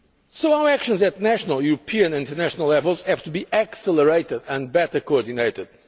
gap. So our actions at national, European and international levels have to be accelerated and better coordinated.